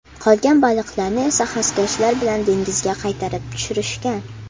Qolgan baliqlarni esa xaskashlar bilan dengizga qaytarib tushirishgan.